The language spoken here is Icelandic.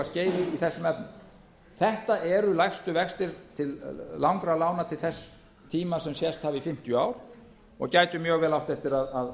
skeiði í þessum efnum þetta eru lægstu vextir til langra lána til þess tíma sem sést hafa í fimmtíu ár og gætu vel átt eftir að